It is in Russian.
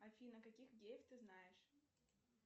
афина каких геев ты знаешь